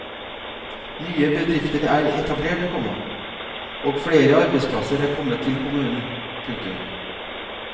Nye bedrifter er etablert, komma og flere arbeidsplasser er kommet til kommunen. punktum